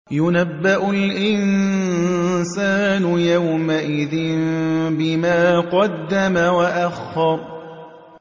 يُنَبَّأُ الْإِنسَانُ يَوْمَئِذٍ بِمَا قَدَّمَ وَأَخَّرَ